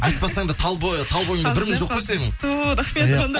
айтпасаң да тал бойыңда бір мін жоқ қой сенің ту рахмет